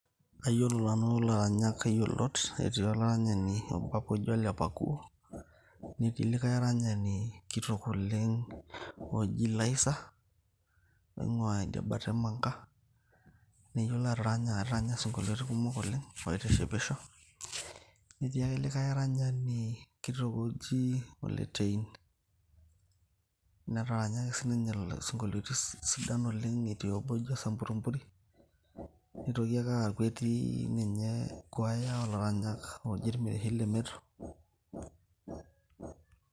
Kayiolo nanu ilaranyak kumok iyiolot, etii olaranyani apa obo kitok oji Ole Pakuo. Netii likai aranyani kitok oleng oji Laizer oing`uaa idiabata e Manga. Neyiolo ataranya ataranya isionkoiliotin kumok oleng oitishipisho. Netii ake likae olaranyani kitok oji Ole Tein, netaranya ake sii ninye isinkolioitin sidan oleng etii obo oji osampurimpuri. Nitoki ake aaku etii kwaya oo laranyak ooji ilmirishi le Meto.